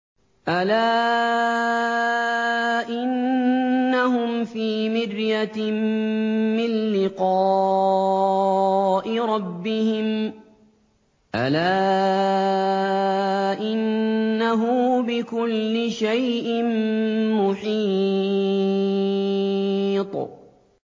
أَلَا إِنَّهُمْ فِي مِرْيَةٍ مِّن لِّقَاءِ رَبِّهِمْ ۗ أَلَا إِنَّهُ بِكُلِّ شَيْءٍ مُّحِيطٌ